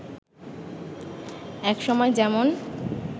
এক সময় যেমন